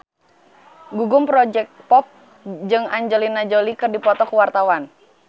Gugum Project Pop jeung Angelina Jolie keur dipoto ku wartawan